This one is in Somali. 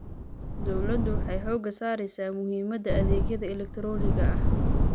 Dawladdu waxay xooga saaraysaa muhiimada adeegyada elegtarooniga ah.